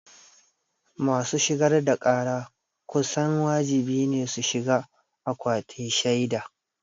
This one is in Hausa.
Masu shigar da ƙara kusan wajibi ne su shiga akwatin shaida.